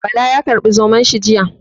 Bala ya karbi Zomon shi jiya.